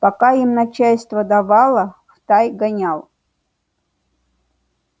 пока им начальство давало в тай гонял